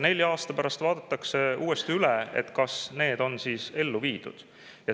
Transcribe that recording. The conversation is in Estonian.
Nelja aasta pärast vaadatakse uuesti üle, kas see on ellu viidud.